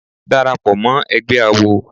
Dàràpọ̀ mọ́ ẹgbẹ́ àwo.